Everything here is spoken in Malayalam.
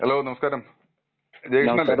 ഹലോ നമസ്കാരം. ജയ കൃഷ്ണൻ അല്ലെ?.